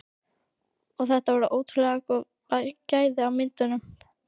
Og þetta eru ótrúlega góð gæði á myndunum?